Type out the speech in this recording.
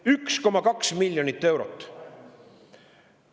– 1,2 miljonit eurot.